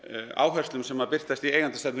áherslum sem birtast í eigendastefnu